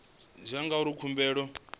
tshi ya ngauri khumbelo yo